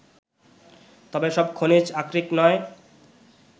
তবে সব খনিজ আকরিক নয়